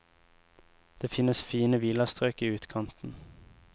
Det finnes fine villastrøk i utkanten.